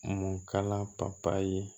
Mun kala ye